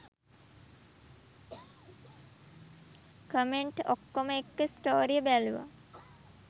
Comment ඔක්කොම එක්ක ස්ටෝරිය බලුවා.